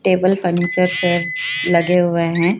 Table furniture से लगे हुए हैं।